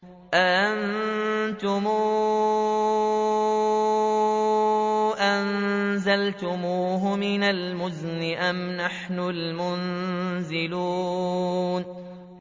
أَأَنتُمْ أَنزَلْتُمُوهُ مِنَ الْمُزْنِ أَمْ نَحْنُ الْمُنزِلُونَ